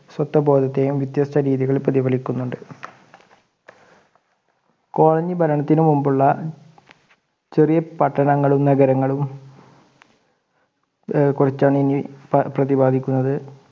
സ്വത്തബോധത്തേയും വ്യത്യസ്ത രീതിയിൽ പ്രതിപലിപ്പിക്കുന്നുണ്ട് Colony ഭരണത്തിനു മുമ്പുള്ള ചെറിയ പട്ടണങ്ങളും നഗരങ്ങളും കുറിച്ചാണ് ഇനി പ്രതിപാദിക്കുന്നത്